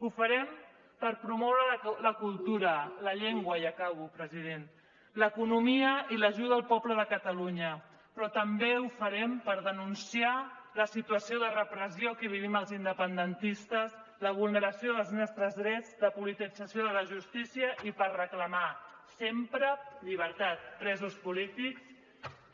ho farem per promoure la cultura la llengua i acabo president l’economia i l’ajuda al poble de catalunya però també ho farem per denunciar la situació de repressió que vivim els independentistes la vulneració dels nostres drets la politització de la justícia i per reclamar sempre llibertat presos polítics